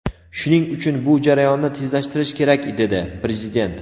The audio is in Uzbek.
Shuning uchun bu jarayonni tezlashtirish kerak dedi Prezident.